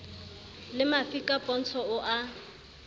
le mafika pontsho o a